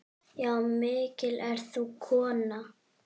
Já, mikil ert þú kona.